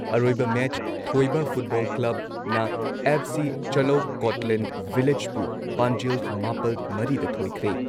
ꯑꯔꯣꯏꯕ ꯃꯦꯆ ꯊꯣꯏꯕ ꯐꯨꯠꯕꯣꯜ ꯀ꯭ꯂꯕꯅ ꯑꯦꯐ.ꯁꯤ ꯆꯂꯧ ꯀꯣꯠꯂꯦꯟꯗ ꯚꯤꯂꯦꯖꯄꯨ ꯄꯥꯟꯖꯤꯜ ꯃꯥꯄꯜ ꯃꯔꯤꯗ ꯊꯣꯏꯈ꯭ꯔꯦ